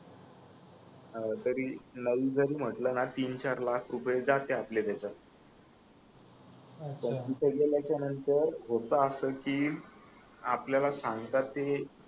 अं तरी नाही जरी म्हटल ना तीनचार लाख रुपये जाते आपले त्याच्यात अच्छा पण तिथ गेलेच्या नंतर होत अस की आपल्याला सांगतात ते